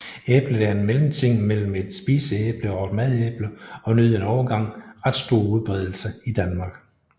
Æblet er en mellemting mellem et spiseæble og et madæble og nød en overgang ret stor udbredelse i Danmark